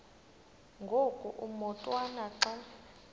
ngoku umotwana xa